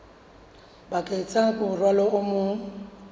bakeng sa morwalo o mong